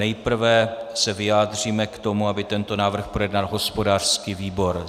Nejprve se vyjádříme k tomu, aby tento návrh projednal hospodářský výbor.